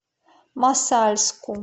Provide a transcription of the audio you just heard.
мосальску